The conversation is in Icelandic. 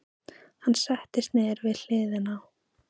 Hann settist niður við hliðina á